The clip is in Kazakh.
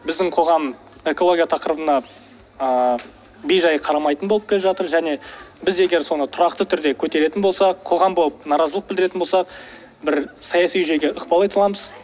біздің қоғам экология тақырыбына ыыы бей жай қарамайтын болып келе жатыр және біз егер соны тұрақты түрде көтеретін болсақ қоғам болып наразылық білдіретін болсақ бір саяси жүйеге ықпал ете аламыз